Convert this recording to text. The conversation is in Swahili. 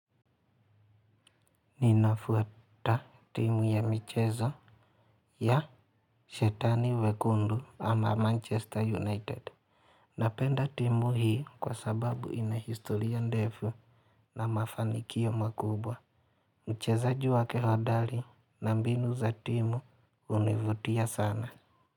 Ninafuata timu ya michezo ya Shetani Wekundu ama Manchester United. Napenda timu hii kwa sababu ina historia ndefu na mafanikio makubwa. Mchezaji wa kihodari na mbinu za timu hunivutia sana.